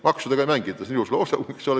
Maksudega ei mängita – see on ilus loosung, eks ole.